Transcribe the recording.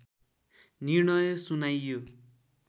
निर्णय सुनाइयो